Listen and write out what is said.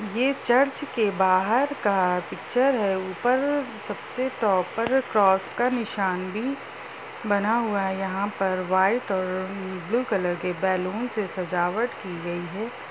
ये चर्च के बाहर का पिच्चर है। ऊपर सबसे टॉप पर क्रॉस का निशान भी बना हुआ है। यहां पर व्हाइट और ब्लू कलर के बैलून से सजावट की गई है।